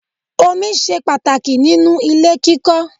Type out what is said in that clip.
Omi ṣe pàtàkì nínú ilé kíkọ́.